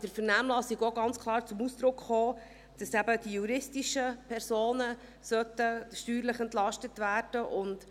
In der Vernehmlassung kam aber auch ganz klar zum Ausdruck, dass eben die juristischen Personen steuerlich entlastet werden sollten.